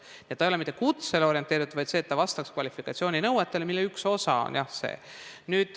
Nii et see ei ole mitte kutsele orienteeritud, vaid sellele, et vastataks kvalifikatsiooninõuetele, mille üks osa see on, jah.